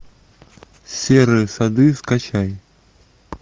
серые сады скачай